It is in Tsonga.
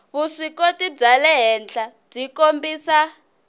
vuswikoti bya le henhlabyi kombisa